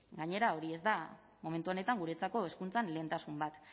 gainera hori ez da momentu honetan guretzako hezkuntzan lehentasun bat